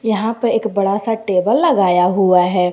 यहां पे एक बड़ा सा टेबल लगाया हुआ है।